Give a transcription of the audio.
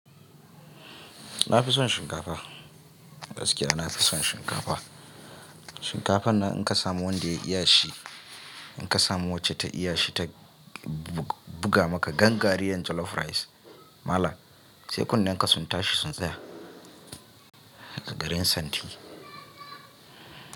Na fi son shinkafa. Gaskiya na fi son shinkafa. Shinkafan nan in ka samu wanda ya iya shi, in ka samu wacce ta iya shi ta buga maka gangariyan jollof rice malam, sai kunnen ka sun tashi sun tsaya a garin santi.